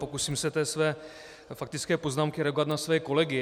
Pokusím se ve své faktické poznámce reagovat na své kolegy.